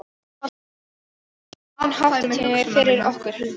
Er ekki kominn háttatími fyrir okkur, Hulda mín?